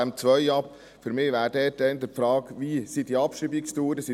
Die Frage ist für mich eher, wie die Abschreibungsdauern sind.